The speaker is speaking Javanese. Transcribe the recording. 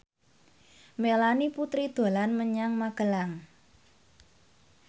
Melanie Putri dolan menyang Magelang